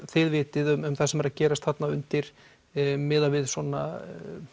þið vitið um það sem er að gerast þarna undir miðað við svona